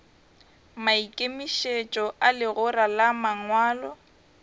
maikemišetšo a legora la mangwalo